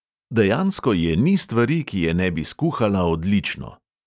Dejansko je ni stvari, ki je ne bi skuhala odlično.